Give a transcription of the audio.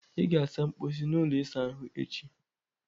ị ga-asa mposi na ụlọ ịsa ahụ echi!